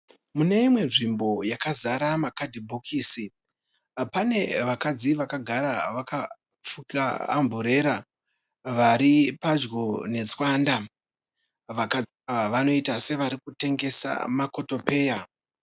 Mune imwe nzvimbo yakazara makadhibhokisi pane vakadzi vakagara wakafuka amburera vari padyo netswanda vanoita sevarikutengesa makotopeya